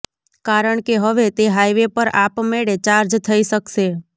કારણકે હવે તે હાઇવે પર આપમેળે ચાર્જ થઇ શકશે